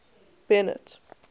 bennet